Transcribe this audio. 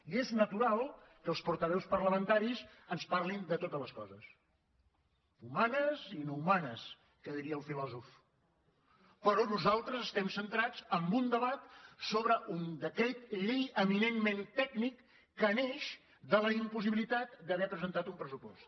i és natural que els portaveus parlamentaris ens parlin de totes les coses humanes i no humanes que diria el filòsof però nosaltres estem centrats en un debat sobre un decret llei eminentment tècnic que neix de la impossibilitat d’haver presentar un pressupost